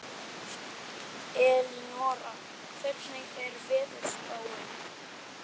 Elínora, hvernig er veðurspáin?